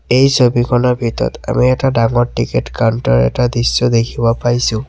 এই ছবিখনৰ ভিতৰত আমি এটা ডাঙৰ টিকেট কাউন্টাৰ এটা দৃশ্য দেখিব পাইছোঁ।